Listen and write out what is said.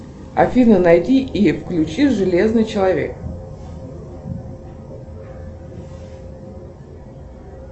афина найди и включи железный человек